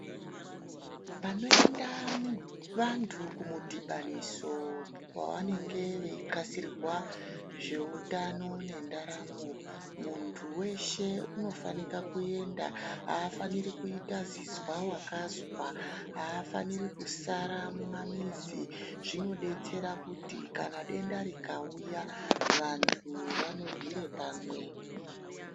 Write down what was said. Panoyenda vantu kumudibaniso, wavanenge veyixasirirwa zvewutano nendaramo, muntu weshe unofanika kuyenda. Afaniri kuyita zvizvawakazva. Hafaniri kusara mumamizi. Zvinodetsera kuti kana denda rikawuya vantu vanorire pamwe.